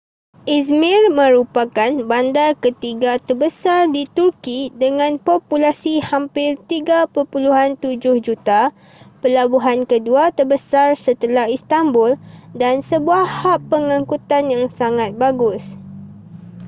izmir merupakan bandar ketiga terbesar di turki dengan populasi hampir 3.7 juta pelabuhan kedua terbesar setelah istanbul dan sebuah hab pengangkutan yang sangat bagus